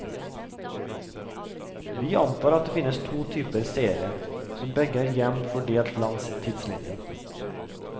Vi antar at det finnes to typer seere, som begge er jevnt fordelt langs tidslinjen.